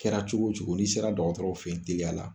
Kɛra cogo cogo n'i sera dɔgɔtɔrɔw fɛ yen teliya la